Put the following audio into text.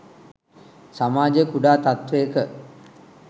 සමාජය කුඩා තත්ත්වයක